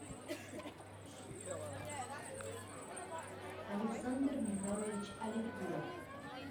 александр михайлович аликулов